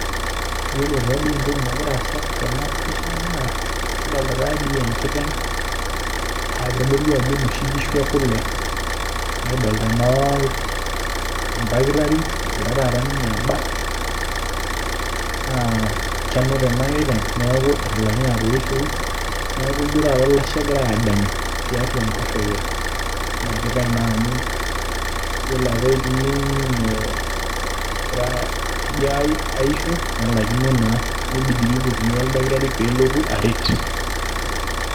Yiolo taatoi entoki nagira aasa tena pisha naa kidolita taatoi enkiteng' aa kitodolu ajo inoshi kishu ekule nikidolita naa oldakitari eegira taata ninye abak naa kenuta ena kiteng' neeku etalaikine atoishoyu neeku ijio taata olashe egirai aadanyu tiatua enkoshoke ena kiteng' naa amu yiolo apa egira ajo aisho nelaikino naa nibidi pee ipotuni oldakitari peelotu aret.